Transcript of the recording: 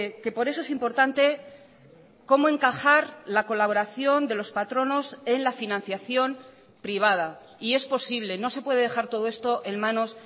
que por eso es importante cómo encajar la colaboración de los patronos en la financiación privada y es posible no se puede dejar todo esto en manos